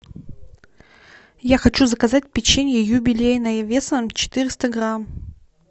я хочу заказать печенье юбилейное весом четыреста грамм